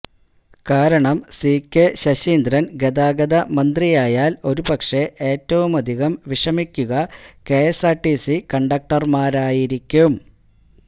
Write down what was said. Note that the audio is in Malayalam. കാരണം സികെ ശശീന്ദ്രന് ഗതാഗത മന്ത്രിയായാല് ഒരുപക്ഷെ ഏറ്റവുമധികം വിഷമിക്കുക കെഎസ്ആര്ടിസി കണ്ടക്ടര്മാരായിരിക്കും